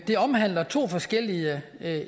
de omhandler to forskellige